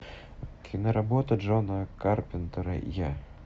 киноработа джона карпентера я